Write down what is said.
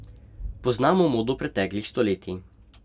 Poznamo modo preteklih stoletij.